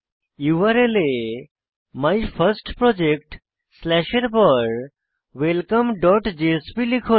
URL এ my first project slash এর পর welcomeজেএসপি লিখুন